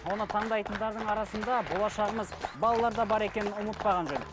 оны таңдайтындардың арасында болашағымыз балалар да бар екенін ұмытпаған жөн